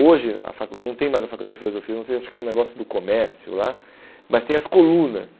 Hoje a facul não tem mais a faculdade de filosofia, não sei, acho que é um negócio do comércio lá, mas tem as colunas.